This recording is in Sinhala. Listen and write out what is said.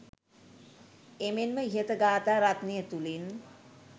එමෙන්ම ඉහත ගාථා රත්නය තුළින්